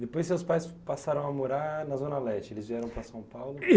Depois seus pais passaram a morar na Zona Leste, eles vieram para São Paulo?